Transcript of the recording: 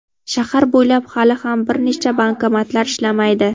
Shahar bo‘ylab hali ham bir nechta bankomatlar ishlamaydi.